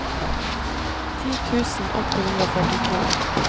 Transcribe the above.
ti tusen åtte hundre og førtito